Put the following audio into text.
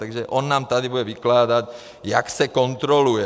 Takže on nám tady bude vykládat, jak se kontroluje.